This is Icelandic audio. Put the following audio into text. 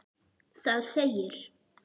Það segir: